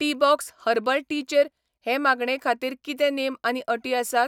Teabox herbal tea चेर हे मागणे खातीर कितें नेम आनी अटी आसात ?